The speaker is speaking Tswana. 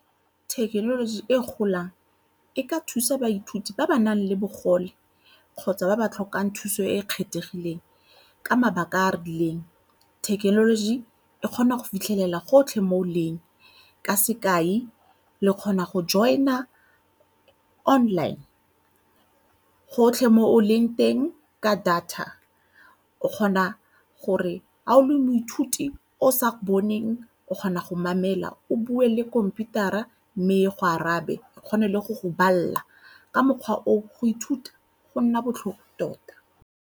Thekenoloji e golang e ka thusa baithuti ba ba nang le bogole kgotsa ba ba tlhokang thuso e e kgethegileng ka mabaka a a rileng. Thekenoloji e kgona go fitlhelela gotlhe mo o leng ka sekai, le kgona go join-a online gotlhe mo o leng teng ka data o kgona gore ga o le moithuti o sa boneng o kgona go mamela o bue le khomputara mme e go arabe o kgone le go bala ka mokgwa o, go ithuta go nna botlhofo tota.